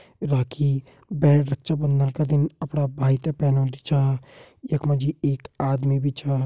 राखी बहन रक्षाबंधन का दिन अपड़ा भाई तें पहनोंदी छा यख मा जी एक आदमी भी छ।